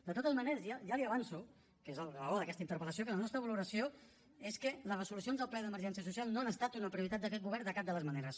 de totes maneres ja li avanço que és la raó d’aquesta interpel·lació que la nostra valoració és que les resolucions del ple d’emergència social no han estat una prioritat d’aquest govern de cap de les maneres